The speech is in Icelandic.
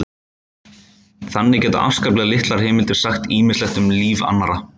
Þannig geta afskaplega litlar heimildir sagt ýmislegt um líf annarra.